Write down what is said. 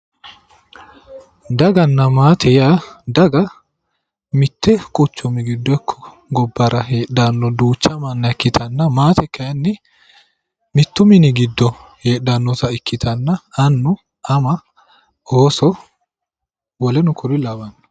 daganna maate yaa daga mitte quchumira ikko gobbara heedhanno manna ikkitanna maate kayinni mittu mini giddo heedhannota ikkitanna annu ama ooso woleno kuri lawanno.